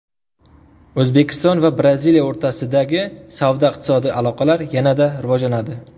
O‘zbekiston va Braziliya o‘rtasidagi savdo-iqtisodiy aloqalar yanada rivojlanadi .